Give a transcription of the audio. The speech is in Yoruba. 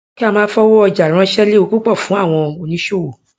kí a máa fi owó ọjà ránṣẹ léwu púpọ fún àwọn oníṣòwò